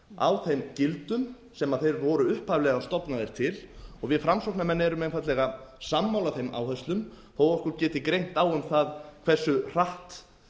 á þeim gildum á þeir voru upphaflega stofnaðir til við framsóknarmenn erum einfaldlega sammála þeim áherslum þó okkur geti greint á um það hversu hratt